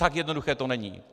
Tak jednoduché to není.